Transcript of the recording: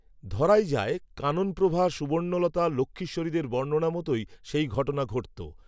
ধরাই যায় কাননপ্রভা সুবর্ণলতা লক্ষ্মীশ্বরীদের বর্ণনা মতোই সেই ঘটনা ঘটত